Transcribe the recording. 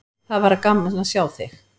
Það var gaman að sjá þig!